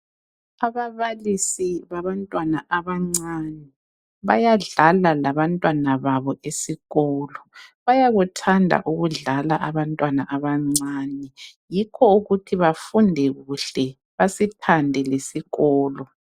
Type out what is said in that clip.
Ababalisi babantwana abancane, bayadlala labantwana babo esikolo. Bayakuthanda ukudlala abantwana abancane, yikho ukuthi bafunde kuhle, basithande lesikolo.